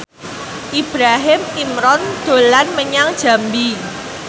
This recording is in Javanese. Ibrahim Imran dolan menyang Jambi